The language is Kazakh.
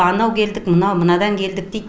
анау келдік мынау мынадан келдік дейді